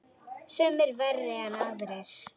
Sumir verri en aðrir.